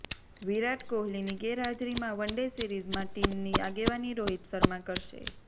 વિરાટ કોહલીની ગેરહાજરીમાં વનડે સિરીઝમાં ટીમની આગેવાની રોહિત શર્મા કરશે